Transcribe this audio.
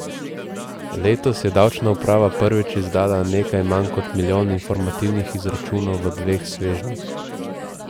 Letos je davčna uprava prvič izdala nekaj manj kot milijon informativnih izračunov v dveh svežnjih.